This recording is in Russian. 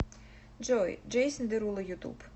джой джейсон деруло ютуб